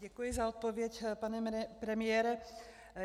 Děkuji za odpověď, pane premiére.